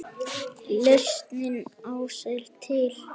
Lausnin ás er til.